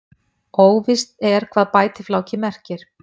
óvíst er hvað bætifláki merkir